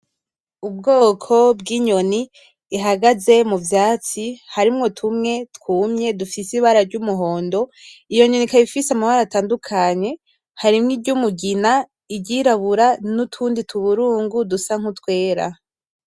Ubwoko bw’inyoni ihagaze mu vyatsi harimwo tumwe twumye dufise ibara ry’umuhondo. Iyo nyoni ikaba ifise amabara atandukanye harimwo iry’umugina, iry’irabura, n’utundi tuburungu dusa nk’utwera.